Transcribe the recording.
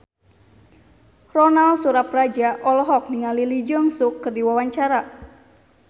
Ronal Surapradja olohok ningali Lee Jeong Suk keur diwawancara